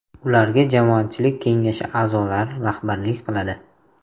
Ularga jamoatchilik kengashi a’zolari rahbarlik qiladi.